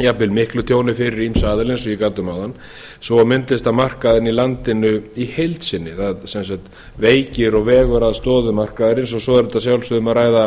jafnvel miklu tjóni fyrir ýmsa aðila eins og ég gat um áðan svo og myndlistarmarkaðinn í landinu í heild sinni það sem sagt veikir og vegur að stoðum markaðarins og svo er að sjálfsögðu um að ræða